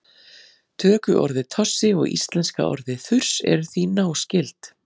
Tökuorðið tossi og íslenska orðið þurs eru því náskyld.